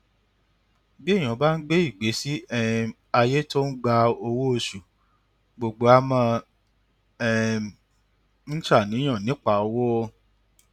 bí èèyàn bá ń gbé ìgbésí um ayé tó ń gba owó oṣù gbogbo ó máa um ń ṣàníyàn nípa owó